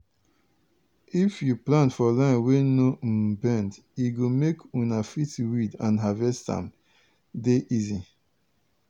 if you plant for line wey no um bend e go make una fit weed and harvest am dey easy.